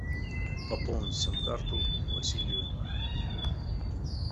пополнить сим карту василию